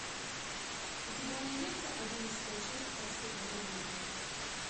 у тебя найдется одиннадцатая часть проспект бразилии